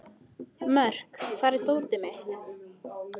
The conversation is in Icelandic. Mörk, hvar er dótið mitt?